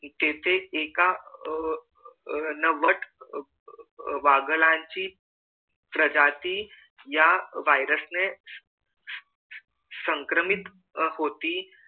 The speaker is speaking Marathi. तिथे एका अह अह वट वाघळाची प्रजाती या virus ने संक्रमित होती